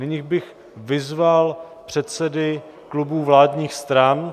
Nyní bych vyzval předsedy klubů vládních stran.